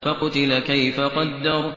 فَقُتِلَ كَيْفَ قَدَّرَ